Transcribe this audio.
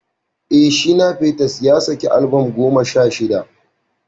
Eh, Sir Shina Peters ya saki albam goma sha shida.